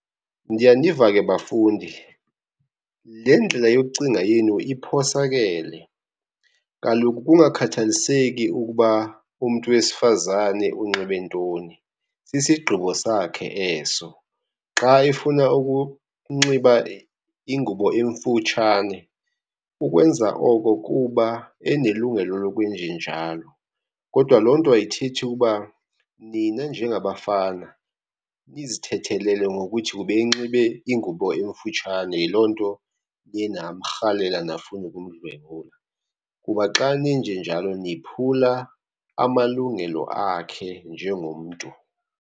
Ndiyaniva ke bafundi, le ndlela yokucinga yenu iphosakele. Kaloku kungakhathaliseki ukuba umntu wesifazane unxibe ntoni sisigqibo sakhe eso. Xa efuna ukunxiba ingubo emfutshane ukwenza oko kuba enelungelo lokwenjenjalo. Kodwa loo nto ayithethi uba nina njengabafana nizithethelele ngokuthi ubenxibe ingubo emfutshane yiloo nto niye namrhalela nafuna ukumdlwengula. Kuba xa nenjenjalo niphula amalungelo akhe njengomntu.